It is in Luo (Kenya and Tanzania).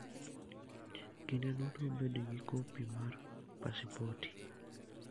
Kinde duto bed gi kopi mar pasipoti.